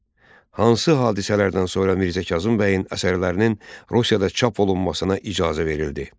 Hansı hadisələrdən sonra Mirzə Kazım bəyin əsərlərinin Rusiyada çap olunmasına icazə verildi?